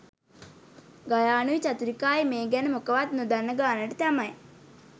ගයානුයි චතුරිකායි මේ ගැන මොකවත් නොදන්න ගානට තමයි